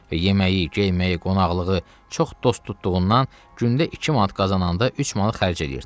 Və yeməyi, geyməyi, qonaqlığı çox dost tutduğundan gündə 2 manat qazananda 3 manat xərcləyirdi.